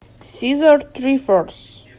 сизорд трифорс